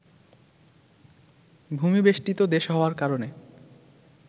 ভূমি-বেষ্টিত দেশ হওয়ার কারণে